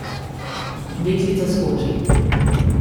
Deklica skoči.